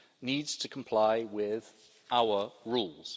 needs to comply with our rules.